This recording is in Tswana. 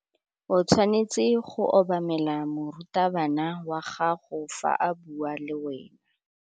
O tshwanetse go obamela morutabana wa gago fa a bua le wena.